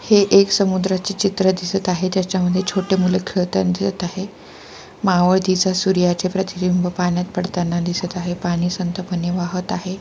हे एक समुद्राचे चित्र दिसत आहे. त्याच्यामध्ये छोटे मुलं खेळताना दिसत आहे. मावळतीच्या सूर्याच प्रतिबिंब पाण्यात पडताना दिसत आहे.पाणी संत पने वाहत आहे.